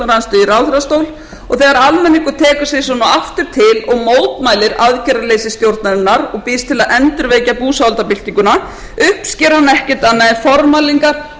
almenningur tekur sig svona aftur til og mótmælir aðgerðarleysi stjórnarinnar og býðst til að endurvekja búsáhaldabyltinguna uppsker hún ekkert annað en formælingar og